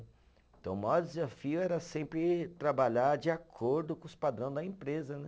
Então, o maior desafio era sempre trabalhar de acordo com os padrão da empresa, né.